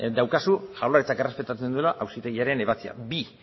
daukazu jaurlaritzak errespetatzen duela auzitegiaren ebatzia bi